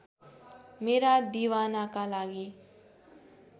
मेरा दिवानाका लागि